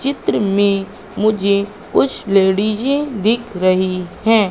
चित्र में मुझे कुछ लेडिजे दिख रही हैं।